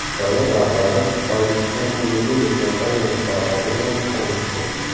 Davlat rahbari Tojikiston alyuminiy kompaniyasi faoliyati bilan tanishdi.